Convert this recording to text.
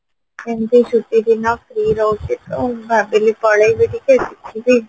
ଏମତି ଛୁଟି ଦିନ free ରହୁଚିତ ଭାବିଲି ପଳେଇବି ଟିକେ